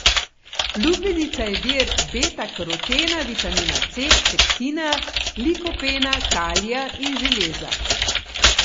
Lubenica je vir betakarotena, vitamina C, pektina, likopena, kalija in železa.